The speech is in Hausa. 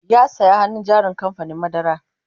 ya saya hannun jarin kamfanin madara